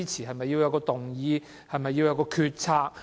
是否要有動議或決策？